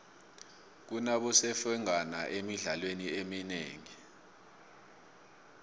kunabosemfengwana emidlalweni eminengi